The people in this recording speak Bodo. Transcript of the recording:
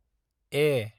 ए